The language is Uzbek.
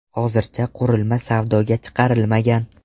Hozircha qurilma savdoga chiqarilmagan.